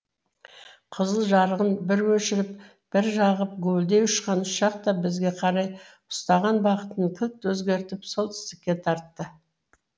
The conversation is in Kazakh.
қызыл жарығын бір өшіріп бір жағып гуілдей ұшқан ұшақ та бізге қарай ұстаған бағытын кілт өзгертіп солтүстікке тартты